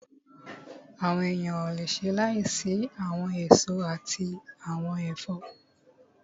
Àwọn èèyàn ò le ṣe láìsí àwọn èso àti àwọn ẹ̀fọ́